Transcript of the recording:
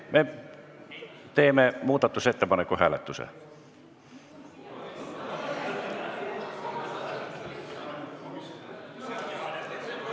Me teeme muudatusettepaneku hääletuse.